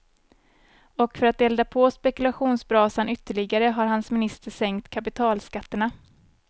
Och för att elda på spekulationsbrasan ytterligare har hans minister sänkt kapitalskatterna.